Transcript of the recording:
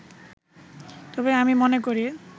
তবে আমি মনে করি